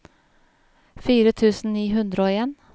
fire tusen ni hundre og en